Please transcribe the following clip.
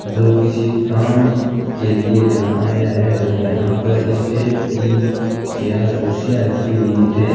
जो किसी काम के लिए यहां आया है और यहां पर स्टेल की चार कुर्सियां रखी हुई है।